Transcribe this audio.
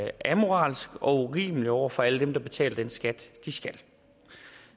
amoralsk og urimeligt over for alle dem der betaler den skat de skal